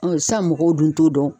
Ɔ sisan mɔgɔw dun t'o dɔn